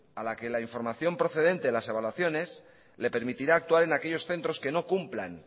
a la que la información procedente de las evaluaciones les permitirá actuar en aquellos centros que no cumplan